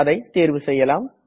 அதை தேர்வு செய்யலாம்